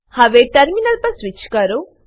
હવે ટર્મિનલ પર સ્વીચ કરો